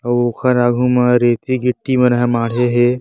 अउ ओखर आगू मा रेती गिट्टी मन ह माढ़े हे।